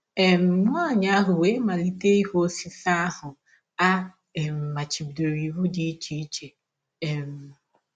um Nwanyị ahụ wee malite ịhụ osisi ahụ a um machibidoro iwụ n’ụdị dị iche um.